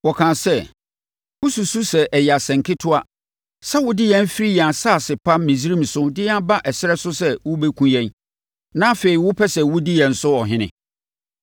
Wɔkaa sɛ, “Wosusu sɛ ɛyɛ asɛnketewa sɛ wode yɛn firi yɛn asase pa Misraim so de yɛn aba ɛserɛ so sɛ worebɛkum yɛn, na afei, wopɛ sɛ wodi yɛn so ɔhene?